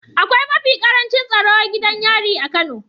Akwai mafi ƙarancin tsaro gidan yari a kano